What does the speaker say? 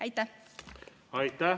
Aitäh!